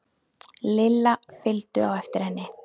Lilla fylgdu á eftir henni.